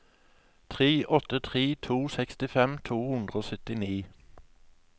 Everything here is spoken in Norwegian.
tre åtte tre to sekstifem to hundre og syttini